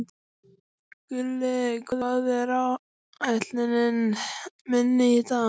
Gulli, hvað er á áætluninni minni í dag?